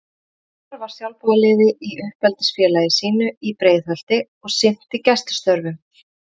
Hilmar var sjálfboðaliði hjá uppeldisfélagi sínu í Breiðholti og sinnti gæslustörfum.